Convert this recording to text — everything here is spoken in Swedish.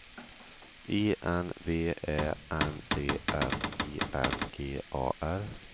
I N V Ä N D N I N G A R